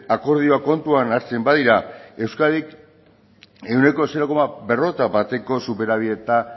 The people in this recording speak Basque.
akordioak kontuan hartzen badira euskadik ehuneko zero koma berrogeita bateko superabita